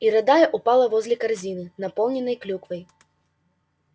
и рыдая упала возле корзины наполненной клюквой